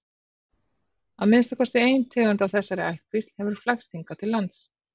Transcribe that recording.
Að minnsta kosti ein tegund af þessari ættkvísl hefur flækst hingað til lands.